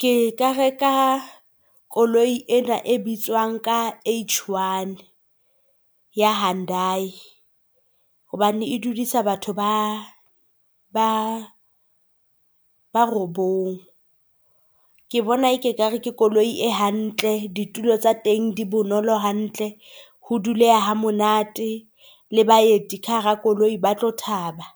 Ke ka reka koloi ena e bitswang ka H-one ya Hundai hobane e dulisa batho ba ba ba robong. Ke bona ekare ke koloi e hantle. Ditulo tsa teng di bonolo hantle ho duleha ha monate le baeti ka hara koloi ba tlo thaba.